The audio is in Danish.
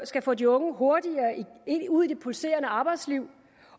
skal få de unge hurtigere ud i det pulserende arbejdsliv